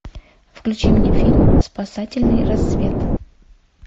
включи мне фильм спасательный рассвет